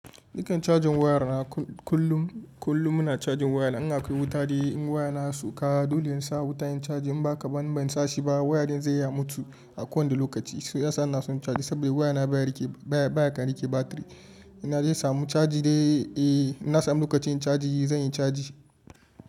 Dukan cajin waya na kullum, kullum ina cajin waya na in akwai wuta dai in waya na ya sauka dole in sa wuta in caji in ba ka ban ban sa shi ba waya din zai iya mutu a kowane lokaci. Su yasa na son caji saboda waya na baya rike baya, baya kan rike batiri. In naje samu caji dai eh ina samun lokacin caji zan yi caji.